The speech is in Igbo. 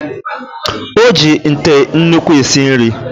O ji ite nnukwu esi nri